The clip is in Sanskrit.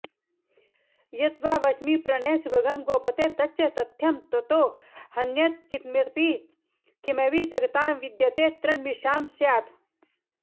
यद्वा वच्मि प्रणयसुभगं गोपते तच्च तथ्यं त्वत्तो ह्यन्यत्किमिव जगतां विद्यते तन्मृषा स्यात्